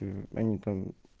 мм они там